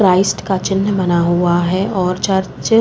Christ का चिन्ह बना हुआ है और चर्च --